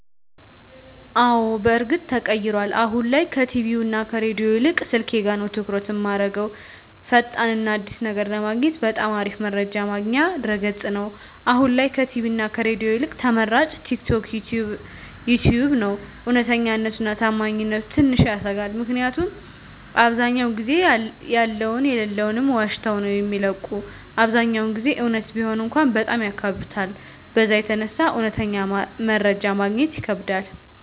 አወ በርግጥ ተቀይሯል አሁን ላይ ከቲቪ እና ከሬዲዮ ይልቅ ስልኬ ጋ ነዉ ትኩረት እማረገዉ። ፈጣን እና አዲስ ነገር ለማግኘት በጣም አሪፍ መረጃ ማግኛ ድረገፅ ነዉ፣ አሁን ላይ ከቲቪ እና ከሬዲዮ ይልቅ ተመራጭ ቲክቶክ፣ ዩተዩብ ነዉ። እዉነተኛነቱ እና ታማኝነቱ ትንሽ ያሰጋል ምክኒያቱም አብዛዉ ጊዜ ያለዉንም የለለዉንም ዋሽተዉ ነዉ የሚለቁት አብዛኛዉን ጊዜ እዉነት ቢሆን እንኳን በጣም ያካብዱታል በዛ የተነሳ እዉነተኛ መረጃ ማግኘት ይከብዳል።